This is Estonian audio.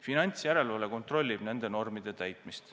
Finantsjärelevalve kontrollib nende normide täitmist.